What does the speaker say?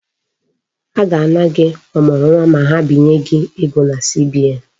A ga-ana gị ọmụrụnwa ma ha binye gị ego na CBN.